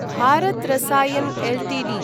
Bharat Rasayan Ltd